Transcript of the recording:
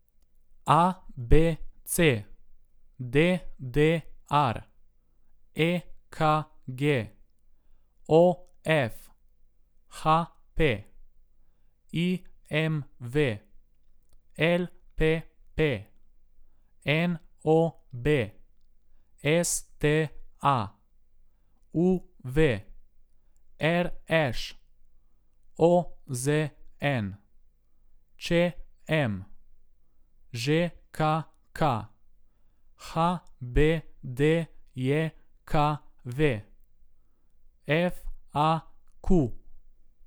ABC, DDR, EKG, OF, HP, IMV, LPP, NOB, STA, UV, RŠ, OZN, ČM, ŽKK, HBDJKV, FAQ.